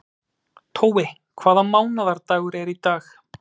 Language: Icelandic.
Tói, hvaða mánaðardagur er í dag?